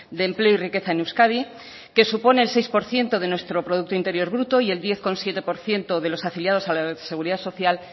de empleo y riqueza en euskadi que supone el seis por ciento de nuestro producto interior bruto y el diez coma siete por ciento de los afiliados a la seguridad social